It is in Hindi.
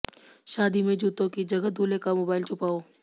शादी में जुतों की जगह दुल्हे का मोबाईल छुपाओ